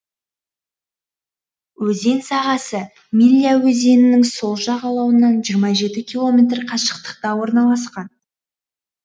өзен сағасы милля өзенінің сол жағалауынан жиырма жеті километр қашықтықта орналасқан